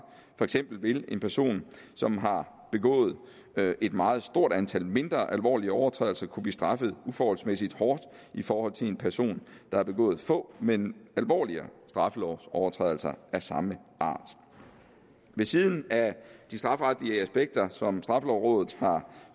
for eksempel vil en person som har begået et meget stort antal mindre alvorlige overtrædelser kunne blive straffet uforholdsmæssig hårdt i forhold til en person der har begået få men alvorligere straffelovsovertrædelser af samme art ved siden af de strafferetlige aspekter som straffelovrådet har